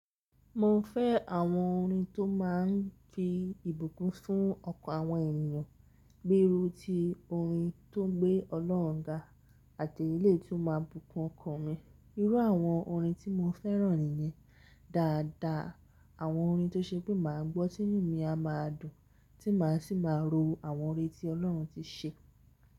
Mo fẹ́ àwọn orin tó má ń fi ìbùkún fún ọkàn àwọn ènìyàn, gbé irú tí orin tó gbé Ọlọ́run ga àti èlé tó máa bùkún ọkàn mi. Irú àwọn orin tí mo fẹ́ràn nìyẹn. Daadaa àwọn orin tó ṣe pé màá gbọ́, tinú mi a máa dùn, tí màá sì máa ro àwọn ọrẹ tí Ọlọ́run ti ṣe.